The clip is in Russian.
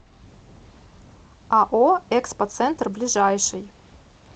ао экспо центр ближайший